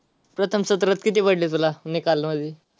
प्रथम सत्रात किती पडले तुला निकाल मध्ये.